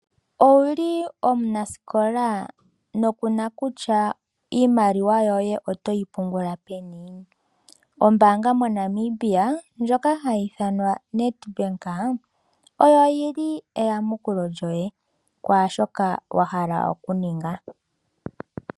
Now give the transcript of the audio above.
Owu li omunasikola noku na kutya iimaliwa yoye oto yi pungula peni? Ombaanga moNamibia ndjoka hayi ithanwa Nedbank oyo yi li eyamukulo lyoye kwaa shoka wa hala okuninga.